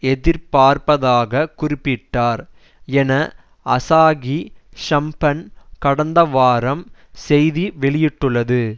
எதிர்பார்ப்பதாக குறிப்பிட்டார் என அசாகி ஷிம்பன் கடந்த வாரம் செய்தி வெளியிட்டுள்ளது